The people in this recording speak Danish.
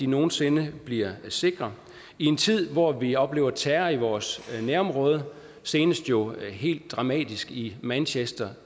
nogen sinde bliver sikre i en tid hvor vi oplever terror i vores nærområde senest jo helt dramatisk i manchester